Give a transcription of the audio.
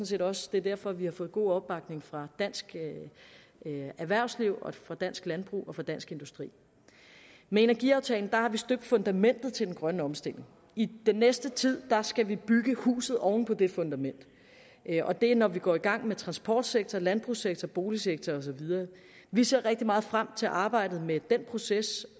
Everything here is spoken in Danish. set også det er derfor vi har fået god opbakning fra dansk erhvervsliv dansk landbrug og fra dansk industri med energiaftalen har vi støbt fundamentet til den grønne omstilling i den næste tid skal vi bygge huset oven på det fundament det er når vi går i gang med transportsektoren landbrugssektoren boligsektoren og så videre vi ser rigtig meget frem til arbejdet med den proces